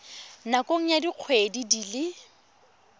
nakong ya dikgwedi di le